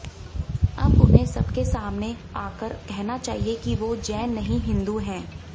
अब उन्हें सबके सामने आकर कहना चाहिए कि वो जैन नहीं हिंदू हैं